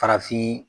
Farafin